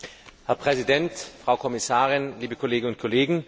Herr Präsident, Frau Kommissarin, liebe Kolleginnen und Kollegen!